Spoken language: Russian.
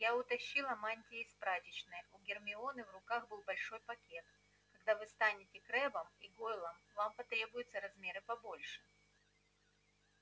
я утащила мантии из прачечной у гермионы в руках был большой пакет когда вы станете крэббом и гойлом вам потребуются размеры побольше